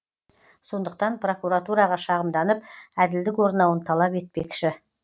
сондықтан прокуратураға шағымданып әділдік орнауын талап етпекші